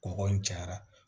Kɔgɔ in cayara